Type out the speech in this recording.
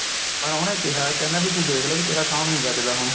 ਪਰ ਉਹਨੇ ਕਿਹਾ ਕਹਿੰਦਾ ਤੂੰ ਦੇਖਲੀ ਵੀ ਤੇਰਾ sound ਨੀ ਬਚਦਾ ਹੁਣ